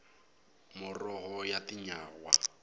muroho ya tinyawa